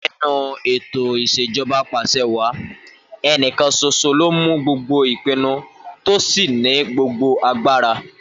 Nínú ètò ìs̩èjo̩ba apàs̩ewàá, ẹnìkan s̩os̩o ló ń mú gbogbo ìpinu tó sì ní gbogbo agbára